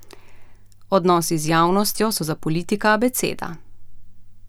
Odnosi z javnostjo so za politika abeceda.